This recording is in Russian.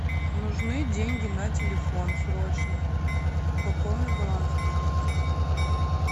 нужны деньги на телефон срочно пополни баланс пожалуйста